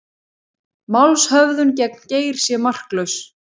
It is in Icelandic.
Málshöfðun gegn Geir sé marklaus